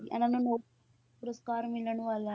ਇਹਨਾਂ ਨੂੰ ਮੋ~ ਪੁਰਸਕਾਰ ਮਿਲਣ ਵਾਲਾ,